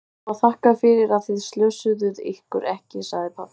Það má þakka fyrir að þið slösuðuð ykkur ekki, sagði pabbi.